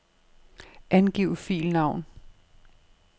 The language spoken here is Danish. Angiv filnavn.